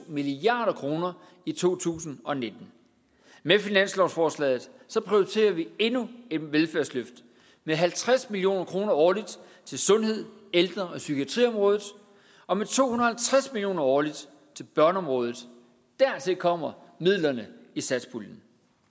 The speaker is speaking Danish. milliard kroner i to tusind og nitten med finanslovsforslaget prioriterer vi endnu et velfærdsløft med halvtreds million kroner årligt til sundhed ældre og psykiatriområdet og med to hundrede og tres million kroner årligt til børneområdet dertil kommer midlerne i satspuljen